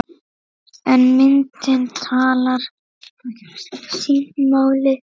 En myndin talar sínu máli.